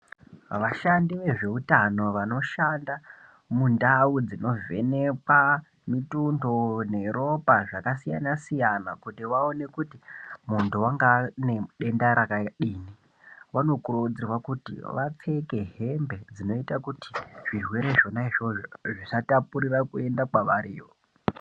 Vashandi vezveutano vanoshanda mundau dzinovhenekwa mutuso neropa zvakasiyana-siyana kuti vaone kuti muntu angaa ane denda rakadini, vanokurudzirwa kuti vapfeke hembe dzinoita kuti zvirwere izvona zvozvo zvisatapurire kuenda kwavariwo.